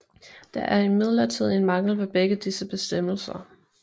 Der er imidlertid en mangel ved begge disse bestemmelser